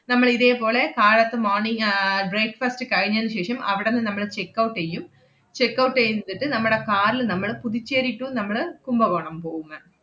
നമ്മളിതേ പോലെ കാലത്ത് morning ah breakfast കഴിഞ്ഞേന് ശേഷം അവടന്ന് നമ്മള് checkout ചെയ്യും, checkout എയ്തിട്ട് നമ്മടെ car ല് നമ്മള് പുതുച്ചേരി to നമ്മള് കുംഭകോണം പോവും ma'am